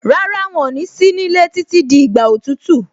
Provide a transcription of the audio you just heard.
Rárá, wọn ní sí nílé títí di ìgbà òtútù.